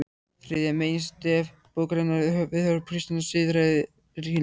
Þriðja meginstef bókarinnar er viðhorf kristinnar siðfræði til kynlífs.